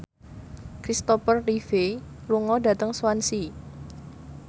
Kristopher Reeve lunga dhateng Swansea